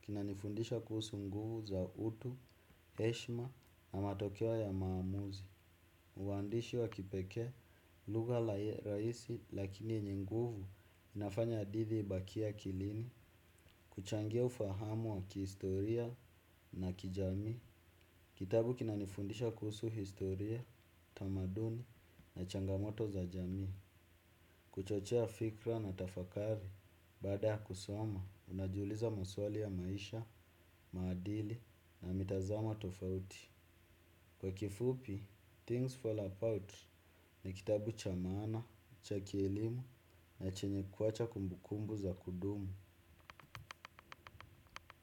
kinanifundisha kuhusu nguvu za utu, heshima na matokeo ya maamuzi. Uandishi wa kipekee lugha rahisi lakini yenye nguvu inafanya hadithi ibakie akilini. Kuchangia ufahamu wa kihistoria na kijamii kitabu kinanifundisha kuhusu historia, tamaduni na changamoto za jamii. Kuchochea fikra na tafakari baada ya kusoma, unajiuliza maswali ya maisha, maadili na mitazamo tofauti. Kwa kifupi, "Things Fall Out" ni kitabu cha maana, cha kielimu na chenye kuacha kumbukumbu za kudumu.